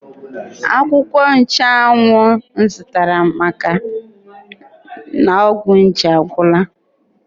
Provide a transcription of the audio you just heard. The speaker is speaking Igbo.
Akwụkwọ Nchanwụ m zụtara dịka ọgwụ nje agwụla.